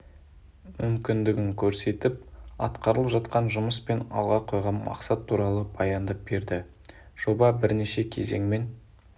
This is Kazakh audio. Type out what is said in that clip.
мүмкіндігін көрсетіп атқарылып жатқан жұмыс пен алға қойған мақсат туралы баяндап берді жоба бірнеше кезеңмен